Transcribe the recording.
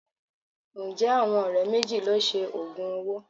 Ǹjẹ́ àwọn ọ̀rẹ́ méjì lọ Se òògùn owó?